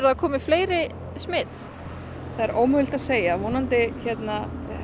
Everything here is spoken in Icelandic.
það komi fleiri smit það er ómögulegt að segja vonandi